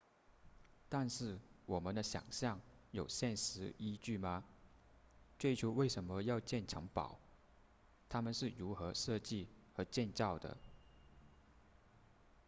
但是我们的想象有现实依据吗最初为什么要建城堡它们是如何设计和建造的